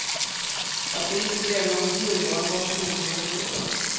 Att det inte blev något nyval var förmodligen lika bra.